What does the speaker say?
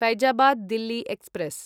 Faizabad Delhi express